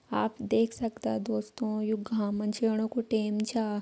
आप देख सकदा दोस्तों यो घाम में जैणू कु टेम छा।